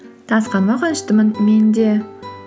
танысқаныма қуаныштымын мен де